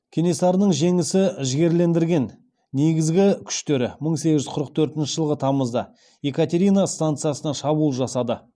кенесарының жеңісі жігерлендірген негізгі күштері мың сегіз жүз қырық төртінші жылғы тамызда екатерина станицасына шабуыл жасады